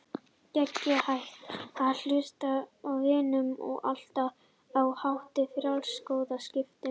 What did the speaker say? Gegn hættunni á hlutdrægni vinnum við á allt annan hátt, með frjálsum skoðanaskiptum.